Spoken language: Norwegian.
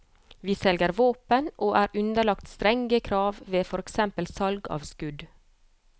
Vi selger våpen og er underlagt strenge krav ved for eksempel salg av skudd.